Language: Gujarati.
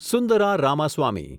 સુંદરા રામાસ્વામી